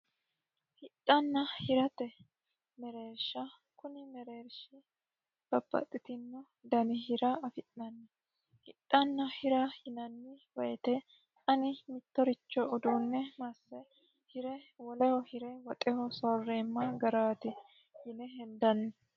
Hidhanna hirate mereerisha kuni hidhana hirate mereerisha babbaxino dani hira afi'nanni hidhanna hira yinanni woyte ani mittoricho uduune masse hire woleho hire woxe soorema garaati yine henidanni